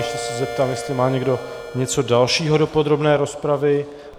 Ještě se zeptám, jestli má někdo něco dalšího do podrobné rozpravy.